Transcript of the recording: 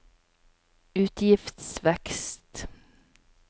utgiftsvekst